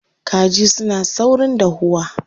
Kaji suna saurin dahuwa.